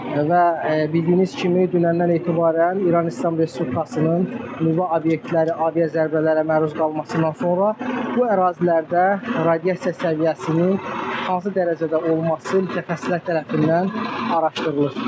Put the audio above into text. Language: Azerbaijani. Və bildiyiniz kimi, dünəndən etibarən İran İslam Respublikasının nüvə obyektləri avia zərbələrə məruz qalmasından sonra bu ərazilərdə radiasiya səviyyəsinin hansı dərəcədə olması mütəxəssislər tərəfindən araşdırılır.